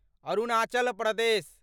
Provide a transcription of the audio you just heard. Arunachal Pradesh